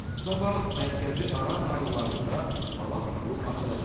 Sabah mərkəzi aran rayonlarında hava tutulub açılacaq.